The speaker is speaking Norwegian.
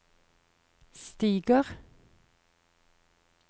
stiger